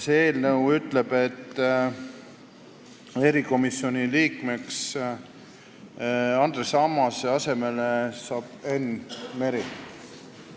See eelnõu ütleb, et Andres Ammase asemel saab erikomisjoni liikmeks Enn Meri.